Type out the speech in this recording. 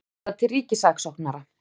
Vísað til ríkissaksóknara